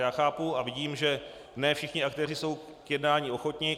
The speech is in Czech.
Já chápu a vidím, že ne všichni aktéři jsou k jednání ochotni.